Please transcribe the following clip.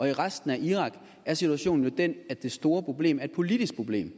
i resten af irak er situationen jo den at det store problem er et politisk problem